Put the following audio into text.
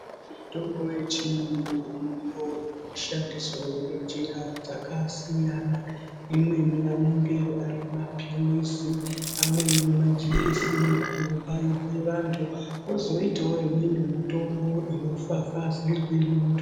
Mitombo yechiyungu inomboshandiswao ngenjira dzakasiyana imweni anenge ari mapirizi amweni majekiseni anobairwe vanthu kozoitao imweni mitombo inofafazirwe munthu.